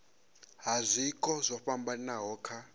ha zwiko zwo fhambanaho kha